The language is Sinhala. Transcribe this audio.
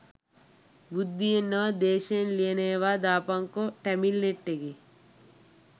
බුද්ධියෙන් නොව ද්වේශයෙන් ලියන ඒවා දාපංකො ටැමිල්නෙට් එකෙ